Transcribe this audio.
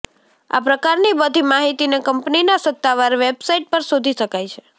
આ પ્રકારની બધી માહિતીને કંપનીના સત્તાવાર વેબસાઇટ પર શોધી શકાય છે